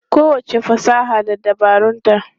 Kowacce fasaha da dabarunta.